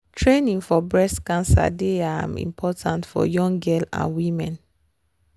training for breast cancer dey ah important for young girl and women.